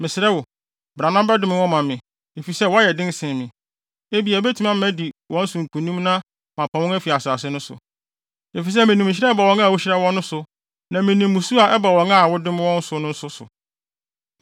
Mɛsrɛ wo, bra na bɛdome wɔn ma me, efisɛ wɔyɛ den sen me. Ebia ɛbɛma matumi adi wɔn so nkonim na mapam wɔn afi asase no so. Efisɛ minim nhyira a ɛba wɔn a wuhyira wɔn no so, na minim mmusu a ɛba wɔn a wodome wɔn no so nso.”